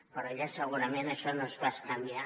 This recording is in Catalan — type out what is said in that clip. però allà segurament això no és bescanviar